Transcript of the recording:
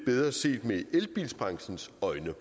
bedre set med elbilbranchens øje